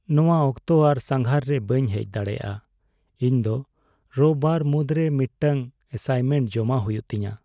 ᱱᱚᱣᱟ ᱚᱠᱛᱚ ᱟᱨ ᱥᱟᱸᱜᱷᱟᱨ ᱨᱮ ᱵᱟᱹᱧ ᱦᱮᱡ ᱫᱟᱲᱮᱭᱟᱜᱼᱟ ᱾ ᱤᱧ ᱫᱚ ᱨᱳᱵ ᱵᱟᱨ ᱢᱩᱫᱨᱮ ᱢᱤᱫᱴᱟᱝ ᱮᱥᱟᱭᱮᱱᱢᱮᱱᱴ ᱡᱚᱢᱟ ᱦᱩᱭᱩᱜ ᱛᱤᱧᱟ ᱾